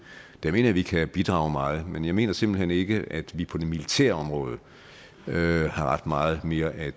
mener vi kan bidrage meget men jeg mener simpelt hen ikke at vi på det militære område har ret meget mere at